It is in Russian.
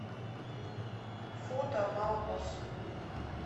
фото мамабосс